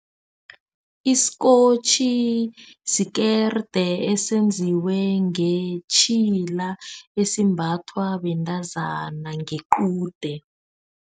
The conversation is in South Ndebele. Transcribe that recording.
isikotjhi sikerde esenziwe ngetjhila. Esimbathwa bentazana ngequde.